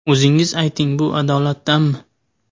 O‘zingiz ayting, bu adolatdanmi?